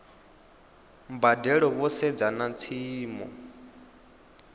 mbadelo vho sedza na tshiimo